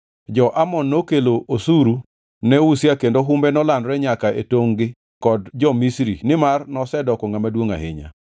Jo-Amon nokelo osuru ne Uzia kendo humbe nolandore nyaka e tongʼ-gi kod jo-Misri nimar nosedoko ngʼama duongʼ ahinya.